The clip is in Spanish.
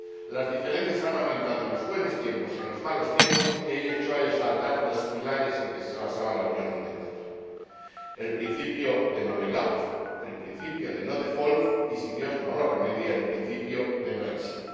Las diferencias han aumentado en los buenos tiempos, y en los malos tiempos lo que han hecho es hacer saltar los pilares en que se basaba la Unión Monetaria el principio de no bail out el principio de no default y, si Dios no lo remedia, el principio de no exit.